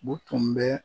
U tun bɛ